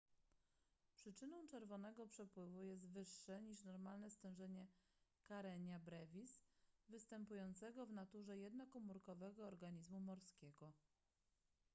przyczyną czerwonego przypływu jest wyższe niż normalnie stężenie karenia brevis występującego w naturze jednokomórkowego organizmu morskiego